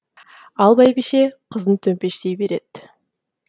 ал бәйбіше қызын төмпештей береді